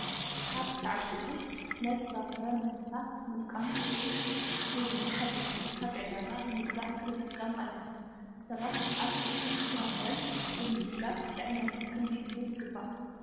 ካብ ዝተዓሸጉ ናይ ፍራፍረ መስተታት ምጥቃም ፍሬሽ (ሓደሽቲ) ካብ ዕዳጋ ብምግዛእ ክንጥቀም ኣለና። ሰባት ኣትክልትን ፍራፍረን ብምምጋብ ጥዕናና ክንህሉ ይግባእ።